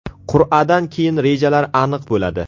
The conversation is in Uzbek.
Qur’adan keyin rejalar aniq bo‘ladi.